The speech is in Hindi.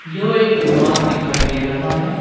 यह एक दुकान दिखाई दे रहा है।